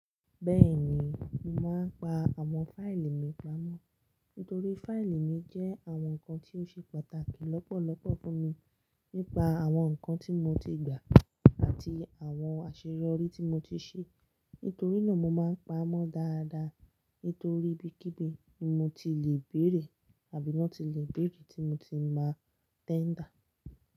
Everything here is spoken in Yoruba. Bẹ́ẹ̀ni, mo máa ń pa àwọn fáìlì mi pamọ́. Nítorí fáìlì mi jẹ́ àwọn nǹkan tí ó ṣe pàtàkì lọ́pọ̀lọ́pọ̀ fún mi, nípa àwọn nǹkan tí mo ti gbà àti àwọn àṣeyọrí tí mo ti ṣe. Nítorí náà mo máa ń pa á mọ́ dáadáa. Nítorí ibi kí bí ni mo ti lè béèrè àbí náà ti lè béèrè tí mo ti máa tẹ́ńdà.